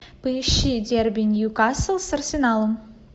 поищи дерби ньюкасл с арсеналом